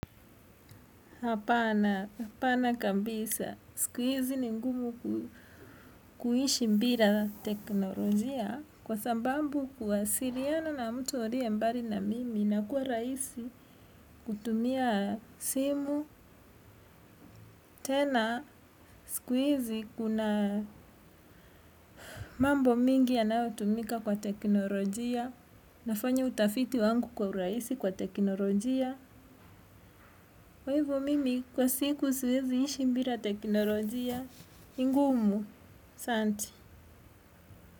Hapana kabisa. Siku hizi ni ngumu kuishi bila teknolojia kwa sababu kuwasiliana na mtu aliye mbali na mimi inakuwa rahisi kutumia simu. Tena siku hizi kuna mambo mingi yanayotumika kwa teknolojia nafanya utafiti wangu kwa urahisi kwa teknolojia. Kwa hivo mimi kwa siku suwezi ishi bila teknolojia. Ni ngumu, asante.